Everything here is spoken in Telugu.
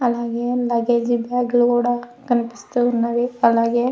ఆలాగే లుగ్గజ్ బ్యాగ్ గూడా కనిపిస్తున్నాయ్. అలాగే--